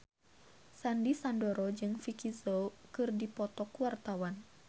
Sandy Sandoro jeung Vicki Zao keur dipoto ku wartawan